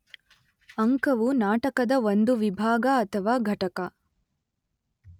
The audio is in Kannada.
ಅಂಕವು ನಾಟಕದ ಒಂದು ವಿಭಾಗ ಅಥವಾ ಘಟಕ.